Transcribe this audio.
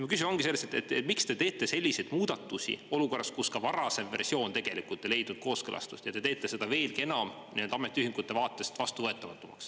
Mu küsimus ongi selles, et miks te teete selliseid muudatusi olukorras, kus ka varasem versioon ei leidnud kooskõlastust, ja te teete seda veelgi enam ametiühingute vaatest vastuvõetamatumaks.